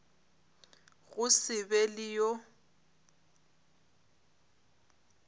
go se be le yo